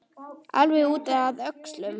Alveg út að öxlum!